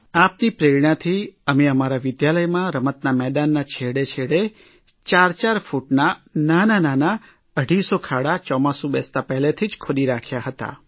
આપની પ્રેરણાથી અમે અમારા વિદ્યાલયમાં રમતના મેદાનમાં છેડે છેડે 4 4 ફૂટના નાનાનાના અઢીસો ખાડા ચોમાસું બેસતાં જ પહેલાંથી જ ખોદી રાખ્યા હતા